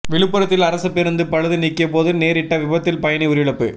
விழுப்புரத்தில் அரசு பேருந்து பழுது நீக்கியபோது நேரிட்ட விபத்தில் பயணி உயிரிழப்பு